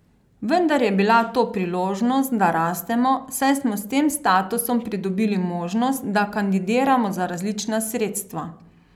Vendar je bila to priložnost, da rastemo, saj smo s tem statusom pridobili možnost, da kandidiramo za različna sredstva.